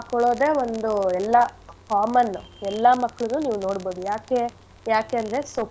ಹಾಕ್ಕೊಳದೇ ಒಂದು ಎಲ್ಲಾ common ಉ ಎಲ್ಲಾ ಮಕ್ಳುನು ನೀವ್ ನೋಡ್ಬೋದು ಯಾಕೆ ಯಾಕೆಂದ್ರೆ.